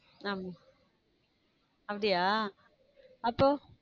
ஹம் அப்படியா? அப்போ